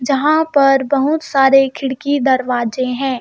जहाँ पर बहुत सारे खिड़की दरवाजे हैं.